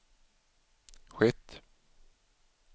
skett